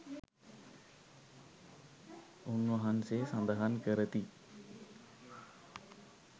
උන්වහන්සේ සඳහන් කරති.